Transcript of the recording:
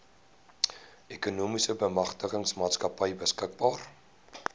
ekonomiese bemagtigingsmaatskappy beskikbaar